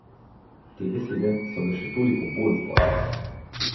Te besede so ga še toliko bolj zbodle.